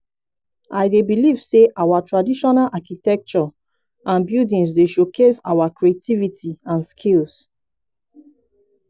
i dey believe say our traditional architecture and buildings dey showcase our creativity and skill.